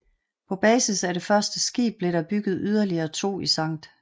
På basis af det første skib blev der bygget yderligere to i St